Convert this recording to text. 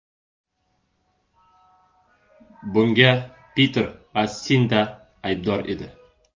Bunga Piter va Sinda aybdor edi”.